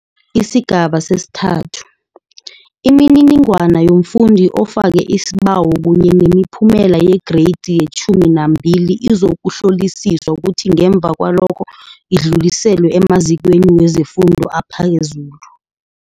Isigaba sesi-3, imininingwana yomfundi ofake isibawo kunye nemiphumela yeGreyidi ye-12 izokuhlolisiswa kuthi ngemva kwalokho idluliselwe emazikweni wezefundo ephezulu